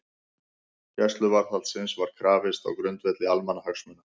Gæsluvarðhaldsins var krafist á grundvelli almannahagsmuna